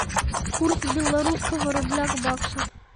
курс белорусского рубля к баксу